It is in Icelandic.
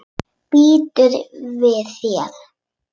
Býður við þér.